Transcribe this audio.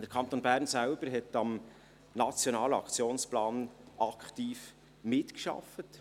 Der Kanton Bern hat am Nationalen Aktionsplan selbst aktiv mitgearbeitet.